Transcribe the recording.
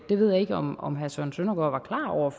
det ved jeg ikke om om herre søren søndergaard